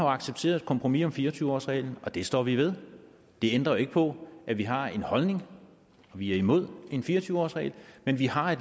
accepteret et kompromis om fire og tyve årsreglen og det står vi ved det ændrer jo ikke på at vi har en holdning og vi er imod en fire og tyve årsregel men vi har